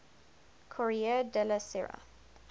corriere della sera